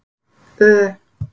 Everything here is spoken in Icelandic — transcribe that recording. Ö